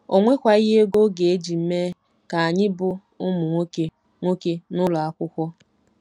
O nwekwaghị ego ọ ga-eji mee ka anyị bụ́ ụmụ nwoke nwoke n'ụlọ akwụkwọ.